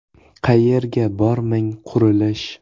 Qayerga bormang qurilish.